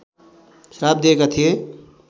श्राप दिएका थिए